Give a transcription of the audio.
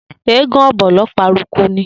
Eégún Ọ̀bọ̀lọ́ paraku ni.